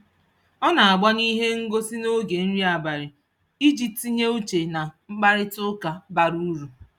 O na-agbanyụ ihe ngosị n'oge nri abalị iji tinye uche na mkparịtaụka bara uru